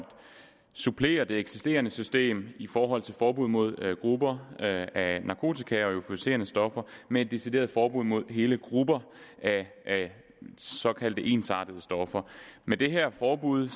supplere det eksisterende system i forhold til forbud mod grupper af narkotika og euforiserende stoffer med et decideret forbud mod hele grupper af såkaldte ensartede stoffer med det her forbud